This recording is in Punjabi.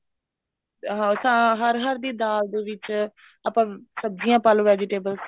ਹਾਂ ਹਰ ਹਰ ਦੀ ਦਾਲ ਦੇ ਵਿੱਚ ਆਪਾਂ ਸਬਜੀਆਂ ਪਾਲੋ vegetables